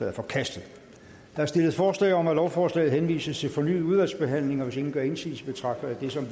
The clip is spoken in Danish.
er forkastet der er stillet forslag om at lovforslaget henvises til fornyet udvalgsbehandling og hvis ingen gør indsigelse betragter jeg det som